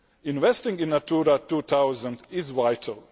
Investing in Natura 2000 is vital.